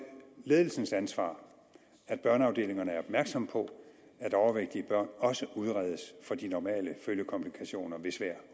ledelsens ansvar at børneafdelingerne er opmærksomme på at overvægtige børn også udredes for de normale følgekomplikationer ved svær